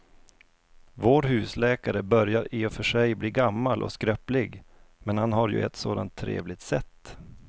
Vår husläkare börjar i och för sig bli gammal och skröplig, men han har ju ett sådant trevligt sätt!